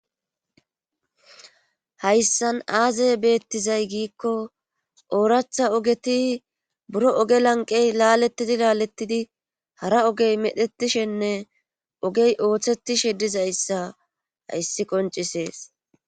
hayssan aazey beettizay giikko ooratha ogeti buro oge lanqey laalettidi laalettidi hara ogey medhetishenne ogey ooththetishe dizayssa hayssi qoncisees